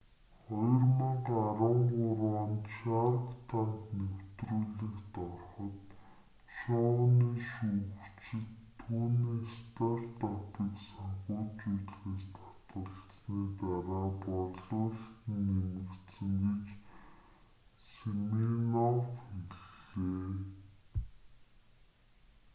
2013 онд шарк танк нэвтрүүлэгт ороход шоуны шүүгчид түүний стартапыг санхүүжүүлэхээс татгалзсаны дараа борлуулалт нь нэмэгдсэн гэж симинофф хэллээ